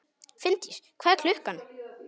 Finndís, hvað er klukkan?